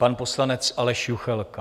Pan poslanec Aleš Juchelka.